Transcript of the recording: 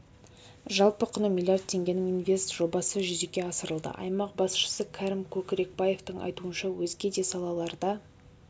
жалпы құны миллиард теңгенің инвест жобасы жүзеге асырылды аймақ басшысы кәрім көкірекбаевтың айтуынша өзге де салаларда